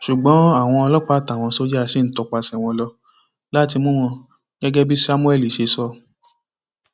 ṣùgbọn àwọn ọlọpàá àtàwọn sójà ṣì ń tọpasẹ wọn lọ láti mú wọn gẹgẹ bí samuel ṣe sọ